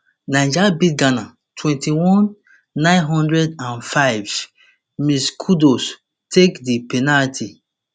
niger beat ghana twenty-one nine hundred and five misskudus take di penalty